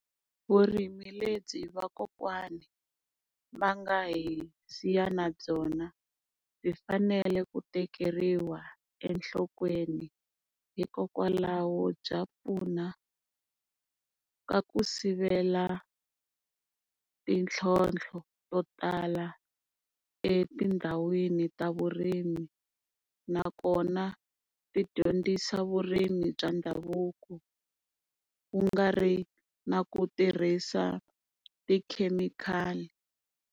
Vurimi lebyi vakokwani va nga hi siya na byona byi fanele ku tekeriwa enhlokweni. Hikokwalaho bya pfuna ka ku sivela mintlhontlho to tala etindhawini ta vurimi. Nakona ti dyondzisa vurimi bya ndhavuko ku nga ri na ku tirhisa tikhemikhali.